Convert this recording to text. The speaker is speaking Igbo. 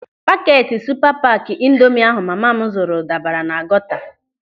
Pakeeti supa paaki ịndomị ahụ mama m zuru dabara na gọta.